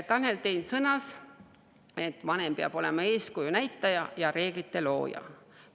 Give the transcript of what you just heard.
Tanel Tein sõnas, et vanem peab olema eeskuju näitaja ja reeglite looja.